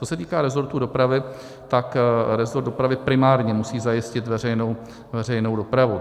Co se týká resortu dopravy, tak resort dopravy primárně musí zajistit veřejnou dopravu.